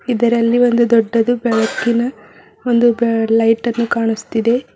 ಇದರಲ್ಲಿ ಒಂದು ದೊಡ್ಡದು ಬೆಳಕಿನ ಒಂದು ಬ ಲೈಟ್ ಅನ್ನು ಕಾಣಸ್ತಿದೆ.